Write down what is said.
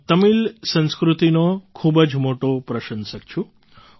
હું તમિલ સંસ્કૃતિનો ખૂબ જ મોટો પ્રશંસક છું